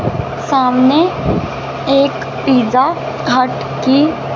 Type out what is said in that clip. सामने एक Pizza Hut की--